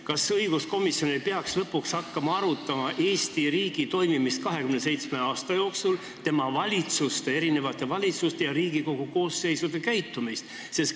Kas õiguskomisjon ei peaks lõpuks hakkama arutama Eesti riigi toimimist 27 aasta jooksul, tema erinevate valitsuste ja Riigikogu koosseisude käitumist?